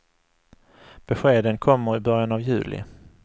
Beskeden kommer i början av juli.